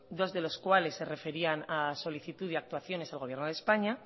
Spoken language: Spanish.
dos de los cuales se referían a solicitud y actuaciones al gobierno de españa